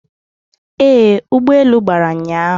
Ee, ụgbọelu gbara ụnyahụ